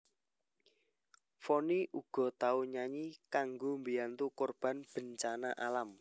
Vonny uga tau nyanyi kanggo mbiyantu korban bencana alam